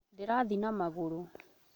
Ndĩrathi na magũrũ